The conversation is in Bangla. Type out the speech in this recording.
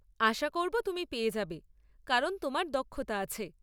আশা করব তুমি পেয়ে যাবে, কারণ তোমার দক্ষতা আছে।